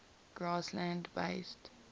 grassland based